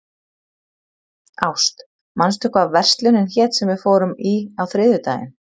Ást, manstu hvað verslunin hét sem við fórum í á þriðjudaginn?